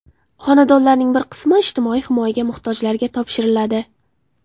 Xonadonlarning bir qismi ijtimoiy himoyaga muhtojlarga topshiriladi.